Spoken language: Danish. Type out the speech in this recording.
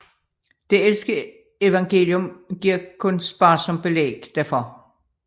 Det ældste evangelium giver kun sparsom belæg derfor